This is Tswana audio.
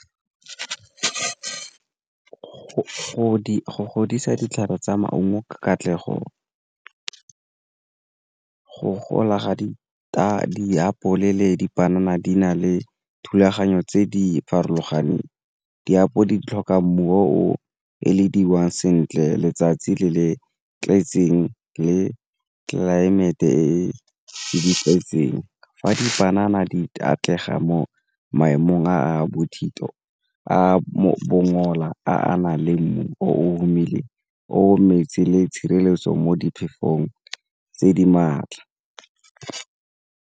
Go godisa ditlhare tsa maungo ka katlego, go gola ga ditapole, dipanana di na le thulaganyo tse di farologaneng di tlhoka mmu o e le dirwang sentle letsatsi le le tletseng le tlelaemete e e nepagetseng. Fa dipanana di atlega mo maemong a bothito, a a bongola, a na le mmu o o omile, o o metsi le tshireletso mo diphefong tse di maatla.